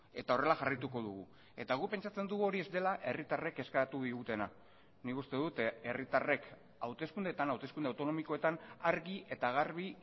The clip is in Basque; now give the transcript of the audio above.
eta horrela jarraituko dugu eta guk pentsatzen dugu hori ez dela herritarrek eskatu digutena nik uste dut herritarrek hauteskundeetan hauteskunde autonomikoetan argi eta garbi